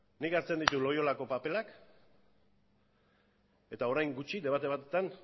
nik hartzen ditut loiolako paperak eta orain gutxi debate batean